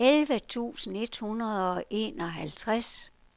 elleve tusind et hundrede og enoghalvtreds